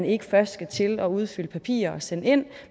ikke først skal til at udfylde papirer og sende ind